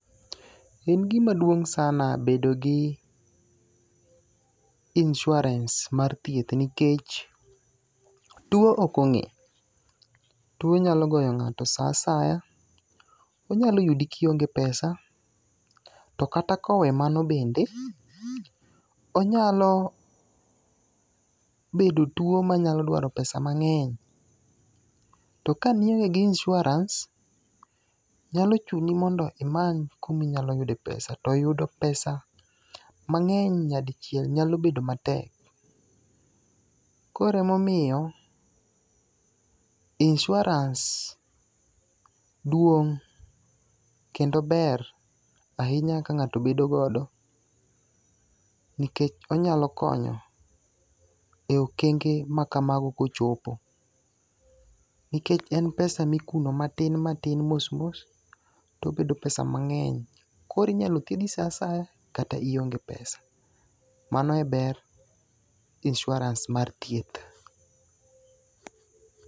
En gima duong' sana bedo gi insuranse mar thieth nikech tuo ok ong'e. Tuo nyalo goyo ng'ato sa asaya. Onyalo yugi kionge pesa. Tokata kowe mano bende, onyalo bedo tuo manyalo dwaro pesa mang'eny. To kane ionge gi insuranse nyalo chuni mondo imany kuminyalo yude pesa. Toyudo pesa mang'eny nyadichiel nyalo bedo matek. Koro emomiyo, insuranse duong' kendo ber ahinya ka ng'ato bedo godo. Nikech onyalo konyo e okenge makamago kochopo. Nikech en pesa ma ikuno matin matin mos mos tobedo pesa mang'eny. Koro inyalo thiedhi saa asaya kata ionge pesa. Mano e ber insuranse mar thieth.